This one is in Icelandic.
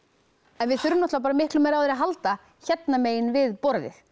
en við þurfum miklum meira á þér að halda hérna megin við borðið